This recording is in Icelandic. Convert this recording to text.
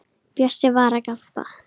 Bjössi var að gabba.